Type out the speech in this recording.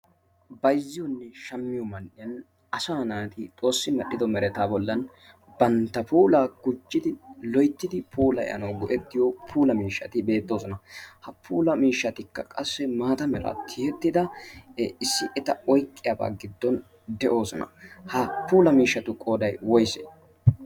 bayzziyo miishshatu man'iyan asaa naati bantta puulaa gujjana mala bayziyo miishshati beetoosona. ha puula miishshatu qooday woysee?